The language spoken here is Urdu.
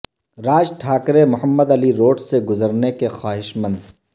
راج ٹھاکرے محمد علی روڈ سے گزرنے کے خواہشمند